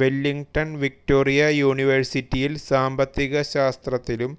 Wellington Victoria യൂണിവേഴ്സിറ്റിയിൽ സാമ്പത്തിക ശാസ്ത്രത്തിലും